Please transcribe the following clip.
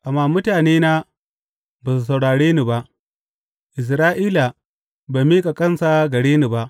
Amma mutanena ba su saurare ni ba; Isra’ila bai miƙa kansa gare ni ba.